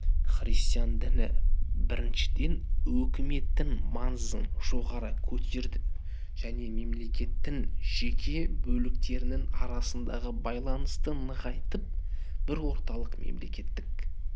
христиан діні біріншіден өкіметтің маңызын жоғары көтерді және мемлекеттің жеке бөліктерінің арасындағы байланысты нығайтып бір орталықты мемлекеттік